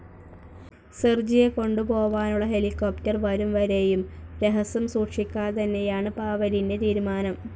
സെർജിയെകൊണ്ടുപോവാനുള്ള helicopter വരുംവരെയും രഹസ്യം സൂക്ഷിക്കാന്തന്നെയാണ് പാവെലിന്റെ തീരുമാനം.